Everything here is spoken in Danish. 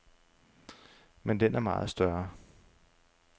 Men den er meget større.